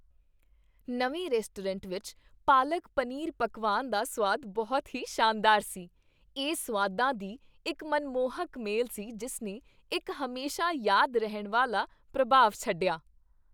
ਨਵੇਂ ਰੈਸਟੋਰੈਂਟ ਵਿੱਚ ਪਾਲਕ ਪਨੀਰ ਪਕਵਾਨ ਦਾ ਸੁਆਦ ਬਹੁਤ ਹੀ ਸ਼ਾਨਦਾਰ ਸੀ, ਇਹ ਸੁਆਦਾਂ ਦੀ ਇੱਕ ਮਨਮੋਹਕ ਮੇਲ ਸੀ ਜਿਸ ਨੇ ਇੱਕ ਹਮੇਸ਼ਾ ਯਾਦ ਰਹਿਣ ਵਾਲਾ ਪ੍ਰਭਾਵ ਛੱਡਿਆ।